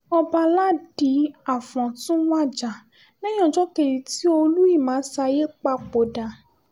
ọbaládì afọ́n tún wájà lẹ́yìn ọ́jọ́ kejì tí olú ìmasáyí papòdà